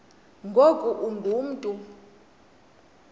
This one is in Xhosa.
ngoku ungu mntu